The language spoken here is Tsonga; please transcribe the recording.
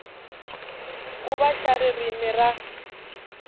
ku va xa ririmi ra